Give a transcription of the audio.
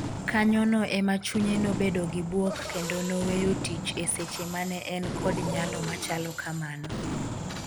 kanyono ema chunye nobedo gi buok kendo noweyo tich e seche mane en kod nyalo machalo kamano.